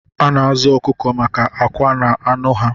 A na-azụ ọkụkọ maka akwa na anụ ha